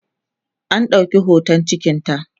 an ɗauki hoton cikinta